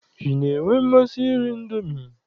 Ị na-enwe mmasị iri Indomi?